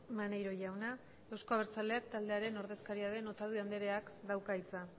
maneiro jauna euzko abertzaleak taldearen ordezkaria den otadui andereak dauka hitza